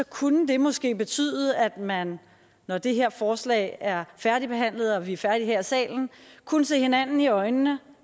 kunne det måske betyde at man når det her forslag er færdigbehandlet og vi er færdige her i salen kunne se hinanden i øjnene